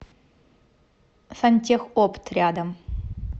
сантехопт рядом